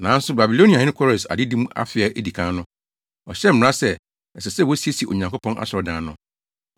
“Nanso Babiloniahene Kores adedi mu afe a edi kan no, ɔhyɛɛ mmara sɛ, ɛsɛ sɛ wosiesie Onyankopɔn asɔredan no.